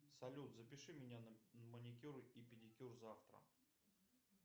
салют запиши меня на маникюр и педикюр завтра